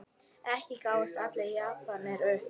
Ekki gáfust allir Japanir upp.